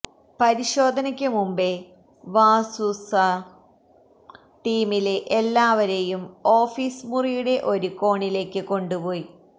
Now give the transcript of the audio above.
പരിശോധനക്ക് മുമ്പേ വാസു സര് ടീമിലെ എല്ലാവരെയും ഓഫീസ് മുറിയുടെ ഒരു കോണിലേക്ക് കൊണ്ട് പോയി